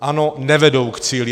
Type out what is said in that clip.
Ano, nevedou k cíli.